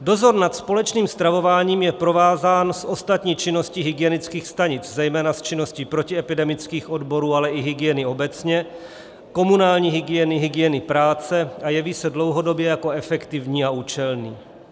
Dozor nad společným stravováním je provázán s ostatní činností hygienických stanic, zejména s činností protiepidemických odborů, ale i hygieny obecně, komunální hygieny, hygieny práce, a jeví se dlouhodobě jako efektivní a účelný.